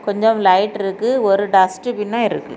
கொஞ்சம் லைட் இருக்கு ஒரு டஸ்ட் பின்னு இருக்கு.